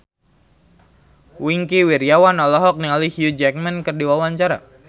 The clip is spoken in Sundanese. Wingky Wiryawan olohok ningali Hugh Jackman keur diwawancara